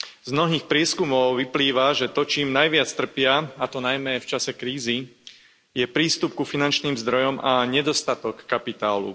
Z mnohých prieskumov vyplýva, že to, čím najviac trpia, a to najmä v čase krízy, je prístup k finančným zdrojom a nedostatok kapitálu.